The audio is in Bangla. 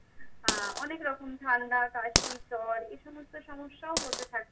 আহ অনেক রকম ঠান্ডা, কাশি, জ্বর এ সমস্ত সমস্যাও হতে থাকে।